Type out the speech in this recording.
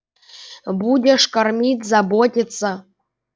будешь кормить заботиться